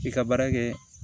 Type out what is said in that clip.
K'i ka baara kɛ